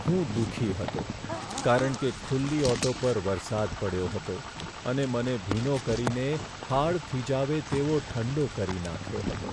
હું દુઃખી હતો કારણ કે ખુલ્લી ઓટો પર વરસાદ પડ્યો હતો અને મને ભીનો કરીને હાડ થીજાવે તેવો ઠંડો કરી નાખ્યો હતો.